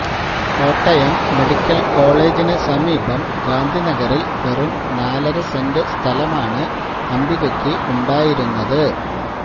Kottayam medical കോളജിനു സമീപം ഗാന്ധിനഗറിൽ വെറും നാലര സെന്റ് സ്ഥലമാണ് അംബികയ്ക്ക് ഉണ്ടായിരുന്നത്